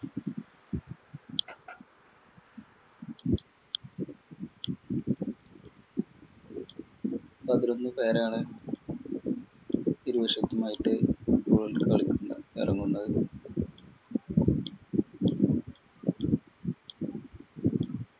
പതിനൊന്നു പേരാണ് ഇരുവശത്തുമായിട്ട് football കളിക്കാന്‍ ഇറ~ഇറങ്ങുന്നത്